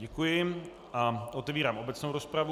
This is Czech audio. Děkuji a otevírám obecnou rozpravu.